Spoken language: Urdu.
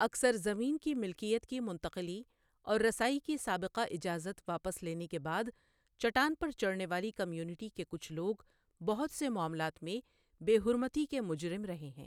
اکثر زمین کی ملکیت کی منتقلی اور رسائی کی سابقہ اجازت واپس لینے کے بعد چٹان پر چڑھنے والی کمیونٹی کے کچھ لوگ بہت سے معاملات میں بے حرمتی کے مجرم رہے ہیں۔